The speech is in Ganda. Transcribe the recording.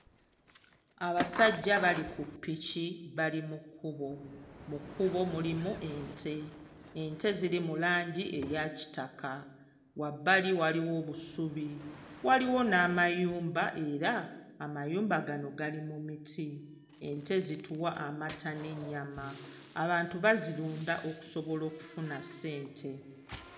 Abasajja bali ku ppiki bali mu kkubo, mu kkubo mulimu ente, ente ziri mu langi eya kitaka, wabbali waliwo obusubi waliwo n'amayumba era amayumba gano gali mu miti, ente zituwa amata n'ennyama abantu bazirunda okusobola okufuna ssente.